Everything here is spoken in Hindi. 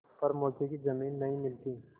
पर मौके की जमीन नहीं मिलती